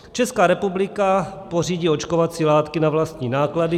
Česká republika pořídí očkovací látky na vlastní náklady.